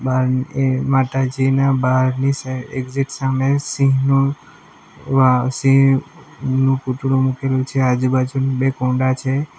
પણ એ માતાજીના બહારની સાઈડ એક્ઝેટ સામે સિંહનું વા સિંહનુ પુતરુ મૂકેલું છે આજુબાજુ બે કુંડા છે.